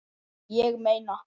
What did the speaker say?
Ég meina.